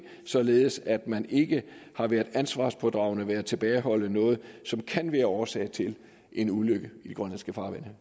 således at man ikke har været ansvarspådragende ved at tilbageholde noget som kan være årsag til en ulykke i de grønlandske farvande